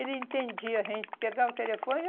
Ele entendia, a gente pegava o telefone.